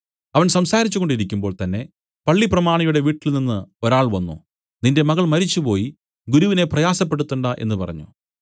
അവൻ സംസാരിച്ചു കൊണ്ടിരിക്കുമ്പോൾ തന്നേ പള്ളിപ്രമാണിയുടെ വീട്ടിൽനിന്നു ഒരാൾ വന്നു നിന്റെ മകൾ മരിച്ചുപോയി ഗുരുവിനെ പ്രയാസപ്പെടുത്തേണ്ടാ എന്നു പറഞ്ഞു